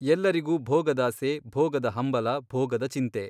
ಎಲ್ಲರಿಗೂ ಭೋಗದಾಸೆ ಭೋಗದ ಹಂಬಲ ಭೋಗದ ಚಿಂತೆ.